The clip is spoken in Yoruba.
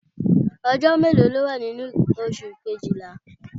Ọjọ́ mélòó ló wà nínú oṣù Kejìlá?